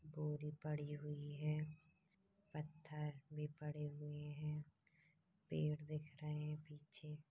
बोरी पड़ी हुई हैं पत्थर भी पड़े हुए हैं पेड़ दिख रहे है पीछे--